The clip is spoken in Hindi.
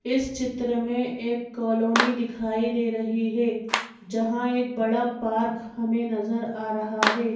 इस चित्र में एक कॉलोनी दिखाई दे रही है जहाँ एक बड़ा पार्क हमें नजर आ रहा है।